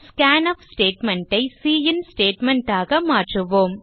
scanf statement ஐ cin statement ஆக மாற்றுவோம்